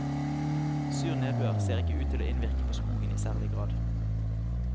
Sur nedbør ser ikke ut til å innvirke på skogen i særlig grad.